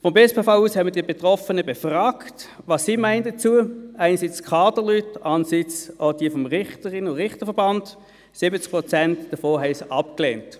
Vonseiten des BSPV haben wir die Betroffenen befragt, einerseits die Kaderleute, andererseits die Mitglieder des Richterinnen- und Richterverbands, um zu erfahren, was sie zur Vertrauensarbeitszeit meinen.